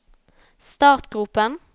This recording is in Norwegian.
startgropen